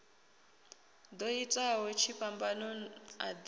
ḓo itaho tshifhambano a ḓi